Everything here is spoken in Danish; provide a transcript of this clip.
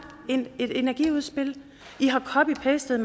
et energiudspil i har copy pastet